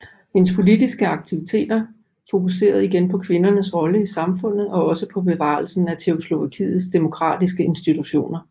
Hendes politiske aktiviteter fokuserede igen på kvindernes rolle i samfundet og også på bevarelsen af Tjekkoslovakiets demokratiske institutioner